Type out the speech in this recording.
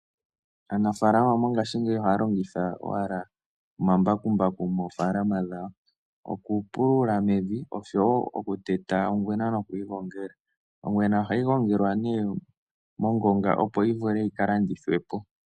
Aanafaalama ngaashingeyi ohaa longitha owala omambakumbaku moofaalama dhawo, oku pulula mepya, osho wo oku teta ongwena noku yi gongela. Ongwena oha yi gongelwa ne ongonga, opo yi vule yi ka labdithwe po.